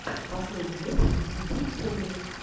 последний выпуск и би фэмили